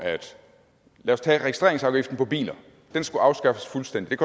lad os tage registreringsafgiften på biler den skulle afskaffes fuldstændigt